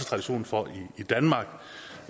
tradition for det i danmark